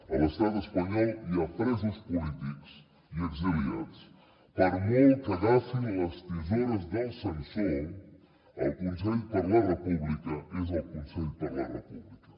a l’estat espanyol hi ha presos polítics i exiliats per molt que agafin les tisores del censor el consell per la república és el consell per la república